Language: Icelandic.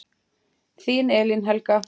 Þín Elín Helga.